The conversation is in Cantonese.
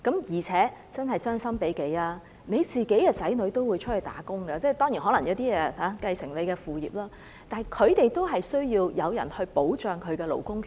而且，將心比己，你的子女也會外出工作——當然，有些人亦可能會繼承父業——但他們也需要有人保障其勞工權益。